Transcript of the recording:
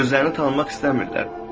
Özlərini tanımaq istəmirlər.